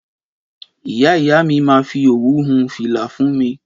Ìyá Ìyá mi ma fi òwú hun fila fún mi